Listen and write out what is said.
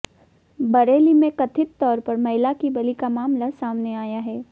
बरेली में कथित तौर पर महिला की बलि का मामला सामने आया है